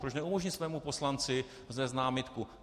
Proč neumožní svému poslanci vznést námitku?